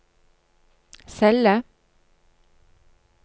celle